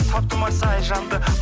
таптым ау сай жанды